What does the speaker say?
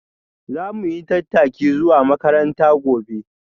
Za mu yi tattaki zuwa makaranta gobe.